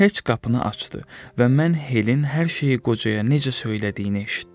Heç qapını açdı və mən Helin hər şeyi qocaya necə söylədiyini eşitdim.